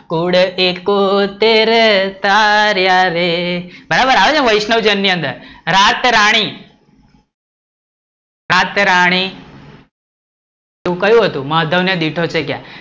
કુળ થી કુળ થી તેરે તાર્યા રે, બરાબર આવે છે ને વૈષ્ણવભજન ને અંદર, રાતરાણી, રાતરાણી તો કયુ હતું? માધવ ને દીઠ વચ્ચે ગયા